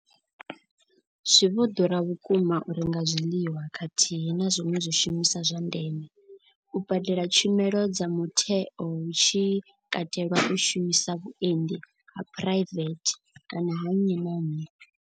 Zwi vho ḓura vhukuma u renga zwiḽiwa khathihi na zwiṅwe zwishumiswa zwa ndeme, u badela tshumelo dza mutheo hu tshi katelwa u shumisa vhuendi ha phuraivethe kana ha nnyi na nnyi.